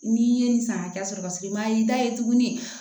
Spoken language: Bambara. N'i ye nin san hakɛ sɔrɔ paseke i ma y'i da ye tuguni